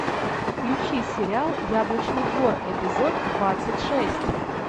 включи сериал яблочный двор эпизод двадцать шесть